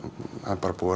bara búið